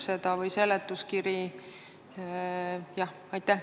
Kas eelnõu või seletuskiri käsitleb seda?